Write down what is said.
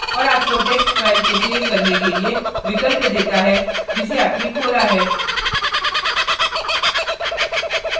और आपको text file को सेव करने के लिए विकल्प देता है जिसे आपने खोला है